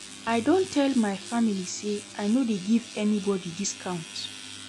I don tell my family sey I no dey give anybodi discount.